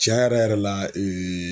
Tiɲɛ yɛrɛ yɛrɛ la